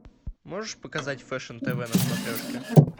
можешь показать фэшн тв на смотрешке